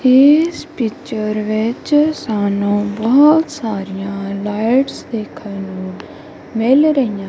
ਇਸ ਪਿਚਰ ਵਿੱਚ ਸਾਨੂੰ ਬਹੁਤ ਸਾਰੀਆਂ ਲਾਈਟਸ ਦੇਖਣ ਨੂੰ ਮਿਲ ਰਹੀਆਂ--